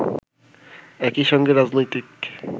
একই সঙ্গে রাজনৈতিক